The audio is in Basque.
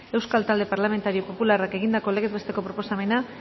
euskal talde parlamentario popularrak egindako legez besteko proposamena